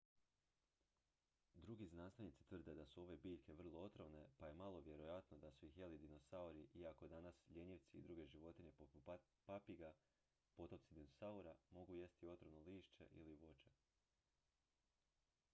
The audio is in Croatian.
drugi znanstvenici tvrde da su ove biljke vrlo otrovne pa je malo vjerojatno da su ih jeli dinosauri iako danas ljenjivci i druge životinje poput papiga potomci dinosaura mogu jesti otrovno lišće ili voće